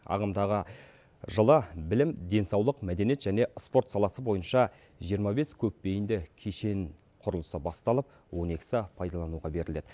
ағымдағы жылы білім денсаулық мәдениет және спорт саласы бойынша жиырма бес көпбейінді кешен құрылысы басталып он екісі пайдалануға беріледі